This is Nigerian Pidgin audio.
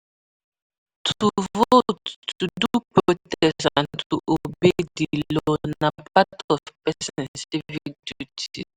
To vote, to do protest and to obey di law na part of persin civic duties